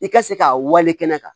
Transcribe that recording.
I ka se k'a wale kɛnɛ kan